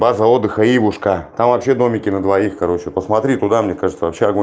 база отдыха ивушка там вообще домики на двоих короче посмотри туда мне кажется вообще огонь